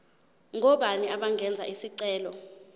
ngobani abangenza isicelo